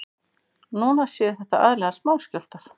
Núna séu þetta aðallega smáskjálftar